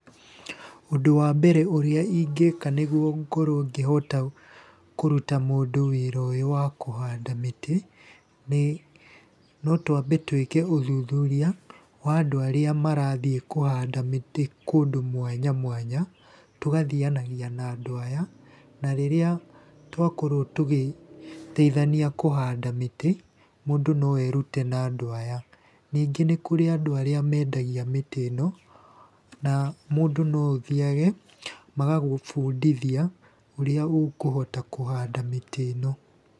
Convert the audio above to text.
Ũndũ wa mbere ũrĩa ingĩka nĩguo ngorwo ngĩhota kũruta mũndũ wĩra ũyũ wa kũhanda mĩtĩ, nĩ no twambe twĩke ũthuthuria wa andũ arĩa marathiĩ kũhanda mĩtĩ kũndũ mwanya mwanya, tũgathianagia na andũ aya, na rĩrĩa twakorwo tũgĩteithania kũhanda mĩtĩ, mũndũ no erute na andũ aya. Ningĩ nĩ kũrĩ andũ aríĩ mendagia mĩtĩ ĩno, na mũndũ no ũthiage magagũbũndĩthia ũrĩa ũkũhota kũhanda mĩtĩ ĩno.